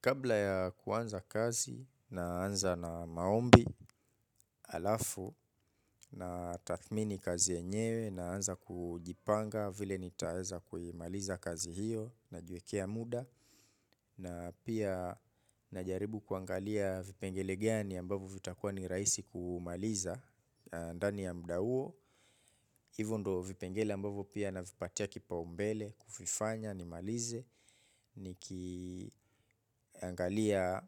Kabla yakuanza kazi naanza nz maombi alafo na tathmini kazi enyewe naanza kujipanga vile nitaeza kuimaliza kazi hiyo na jiwekea muda na pia najaribu kuangalia vipengele gani ambavyo vitakua ni raisi kumaliza. Ndani ya muda huo hivo ndo vipengele ambavo pia na vipatia kipa umbele. Kufifanya, nimalize. Nikiangalia